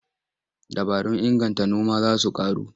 Dabarun inganta noma za su ƙaru.